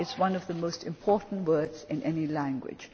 is one of the most important words in any language.